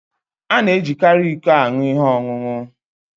A na-ejikarị iko aṅụ ihe ọṅụṅụ.